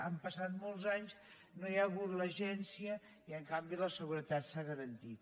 han passat molts anys no hi ha hagut l’agència i en canvi la seguretat s’ha garantit